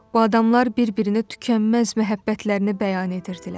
O adamlar bir-birinə tükənməz məhəbbətlərini bəyan edirdilər.